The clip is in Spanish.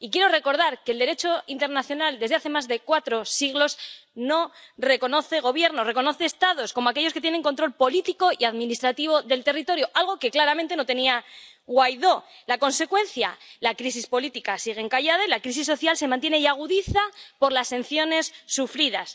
Y quiero recordar que el Derecho internacional, desde hace más de cuatro siglos, no reconoce gobiernos, reconoce Estados, como aquellos que tienen control político y administrativo del territorio, algo que claramente no tenía Guaidó. La consecuencia la crisis política sigue encallada y la crisis social se mantiene y agudiza por las sanciones sufridas.